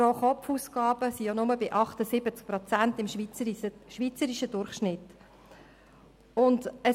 Die Pro-Kopf-Ausgaben betragen nur 78 Prozent des schweizerischen Durchschnitts.